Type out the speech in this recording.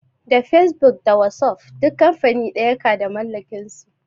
Da fesbuk da wasuf duk kamfani ɗaya ka da mallakin su